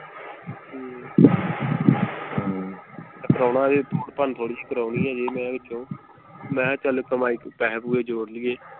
ਕਰਾਉਣਾ ਹਜੇ ਤੋੜ ਭੰਨ ਥੋੜੀ ਜੀ ਕਰੋਨੀ ਅਜੇ ਮੈਂ ਵਿਚੋਂ ਮੈਂ ਕਿਹਾ ਚਲ ਕਮਾਈ ਤੋਂ ਪੈਸੇ ਪੂਸੇ ਜੋੜ ਲਈਏ।